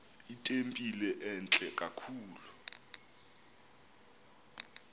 itempile entle kakhulu